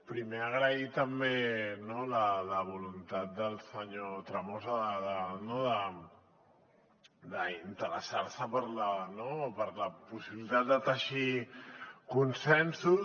primer agrair també la voluntat del senyor tremosa d’interessar se per la possibilitat de teixir consensos